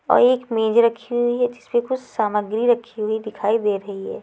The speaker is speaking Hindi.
और एक मेज रखी हुई है जिसपे कुछ सामग्री रखी हुई दिखाई दे रही हैं।